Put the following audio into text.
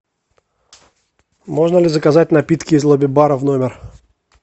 можно ли заказать напитки из лобби бара в номер